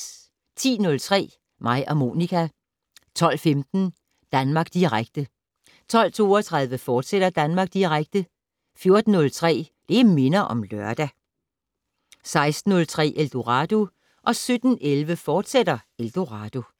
10:03: Mig og Monica 12:15: Danmark Direkte 12:32: Danmark Direkte, fortsat 14:03: Det' Minder om Lørdag 16:03: Eldorado 17:11: Eldorado, fortsat